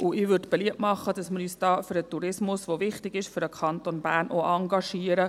Ich würde beliebt machen, dass wir uns hier auch für den Tourismus, der wichtig ist für den Kanton Bern, engagieren.